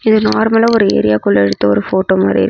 இது நார்மலா ஒரு ஏரியா குள்ள எடுத்த ஒரு ஃபோட்டோ மாதிரி.